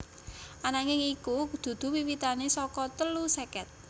Ananging iku dudu wiwitane saka telu seket